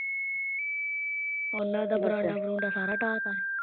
ਉਹਨਾਂ ਦਾ ਵਰਾਂਡਾ ਵਰੁਡਾਂ ਸਾਰਾ ਡਾਹਤਾਂ ਸੀ